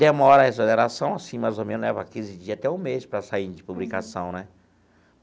Demora a exoneração, assim, mais ou menos leva quinze dias, até um mês, para sair de publicação né.